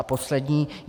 A poslední.